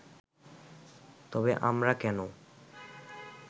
তবে আমরা কেন